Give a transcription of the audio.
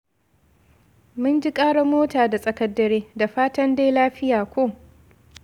Mun ji ƙarar mota da tsakar dare. Da fatan dai lafiya ko?